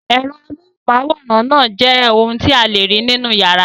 Ẹ̀rọ amóhùmáwòhán náà jẹ́ ohun tí a lè rí nínú ìyàrá.